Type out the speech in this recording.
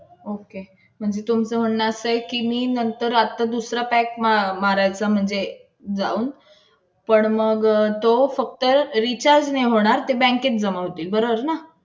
Okey. म्हणजे तुमचं म्हणणं असं आहे की मी नंतर आता दुसरा pack मारायचा म्हणजे जाऊन. पण मग तो फक्त recharge नाही होणार. ते bank मध्ये जमा होतील. बरोबर ना?